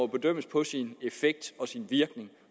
bedømmes på sin virkning